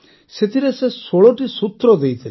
ସେଥିରେ ସେ ୧୬ଟି ସୂତ୍ର ଦେଇଥିଲେ